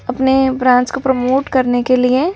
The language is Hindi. अपने ब्रांच को प्रमोट करने के लिए।